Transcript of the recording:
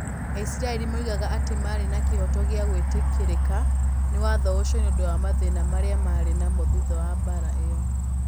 Aisiraeli moigaga atĩ maarĩ na kĩhooto gĩa gwĩtĩkĩrĩka nĩ watho ũcio nĩ ũndũ wa mathĩna marĩa maarĩ namo thutha wa mbaara ĩyo.